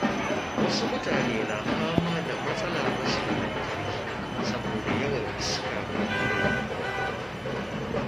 Wasu mutane na fama da matsalar rashin lantarki saboda yawan iska ko hadari.